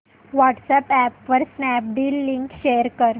WhatsApp वर Snapdeal link share कर